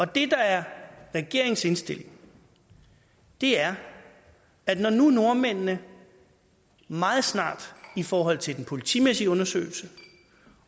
det der er regeringens indstilling er at når nu nordmændene meget snart i forhold til den politimæssige undersøgelse